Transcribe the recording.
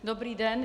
Dobrý den.